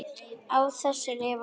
Á þessu lifðu þau.